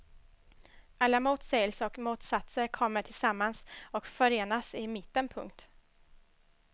Alla motsägelser och motsatser kommer tillsammans och förenas i mitten. punkt